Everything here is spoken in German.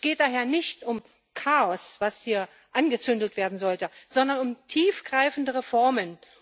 Es geht daher nicht um Chaos, was hier angefacht werden sollte, sondern um tiefgreifende Reformen.